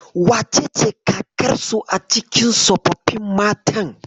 Wacece kakarsu a cikin tsofaffin matan?